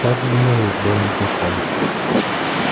так было и с белым клыком